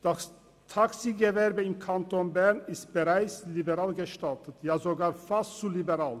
Das Taxigewerbe im Kanton Bern ist bereits liberal gestaltet, ja sogar fast zu liberal.